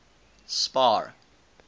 spar